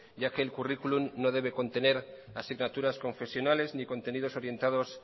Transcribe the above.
ya que el currículum no debe contener asignaturas confesionales ni contenidos orientados